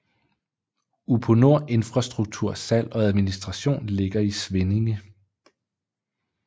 Uponor Infrastrukturs salg og administration ligger i Svinninge